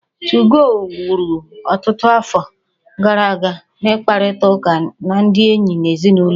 2go wuru ọtụtụ afọ gara aga n'ịkparịta ụka na ndị enyi na ezinụlọ